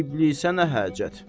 İblisə nə hacət?